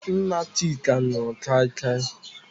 Nna Chika nụrụ kaikai.